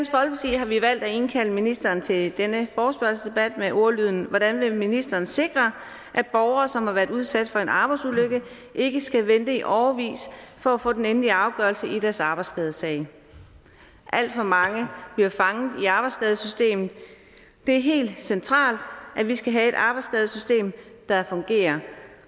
har vi valgt at indkalde ministeren til denne forespørgselsdebat med ordlyden hvordan vil ministeren sikre at borgere som har været udsat for en arbejdsulykke ikke skal vente i årevis for at få den endelige afgørelse i deres arbejdsskadesag alt for mange bliver fanget i arbejdsskadesystemet det er helt centralt at vi skal have et arbejdsskadesystem der fungerer